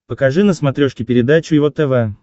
покажи на смотрешке передачу его тв